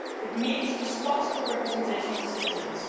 It means responsible representation of citizens